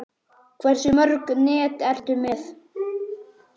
Hversu mörg net ertu með?